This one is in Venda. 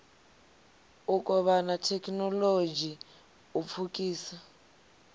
u kovhana thekhinolodzhi u pfukisa